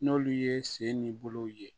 N'olu ye sen ni bolo ye